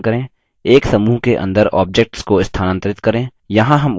एक समूह के अंदर objects को स्थानांतरित करें